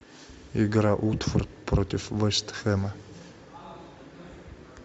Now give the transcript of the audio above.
игра уотфорд против вест хэма